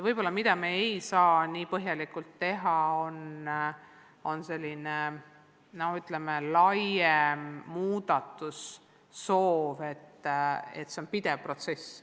Laiemat muudatust me kohe teha ei saa, see on pidev protsess.